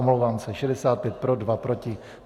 Omlouvám se, 65 pro, 2 proti.